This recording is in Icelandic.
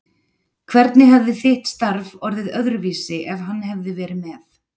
Hvernig hefði þitt starf orðið öðruvísi ef hann hefði verið með?